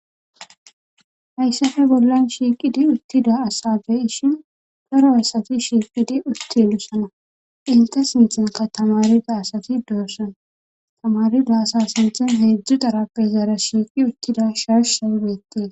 hayssafe bollan shiiqidi uttida asabey shin toro asati shiiqidi uttilusana inte sintanka tamari da asati doorsana tamarida asa sinthen heedzdzu darappe zaara shiiqi uttida sharsha beetee